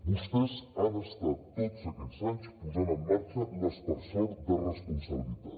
vostès han estat tots aquests anys posant en marxa l’aspersor de responsabilitat